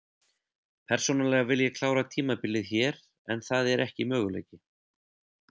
Persónulega vil ég klára tímabilið hér en það er ekki möguleiki.